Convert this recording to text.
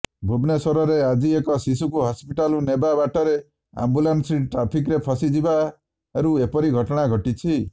ଭୁବନେଶ୍ୱରରେ ଆଜି ଏକ ଶିଶୁକୁ ହସ୍ପିଟାଲ ନେବା ବାଟରେ ଆମ୍ବୁଲାନ୍ସଟି ଟ୍ରାଫିକ୍ରେ ଫସି ଯିବାରୁ ଏପରି ଘଟଣା ଘଟିଛି